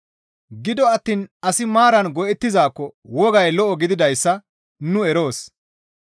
Gido attiin asi maaran go7ettizaakko wogay lo7o gididayssa nu eroos.